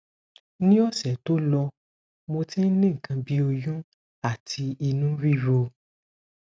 ni ose to lo mo ti ni nkan bi oyun ati inu riro